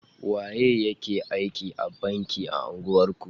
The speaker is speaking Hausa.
Waye ya ke aiki a banki a unguwar ku?